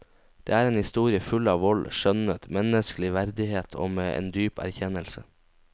Det er en historie full av vold, skjønnhet, menneskelig verdighet og med en dyp erkjennelse.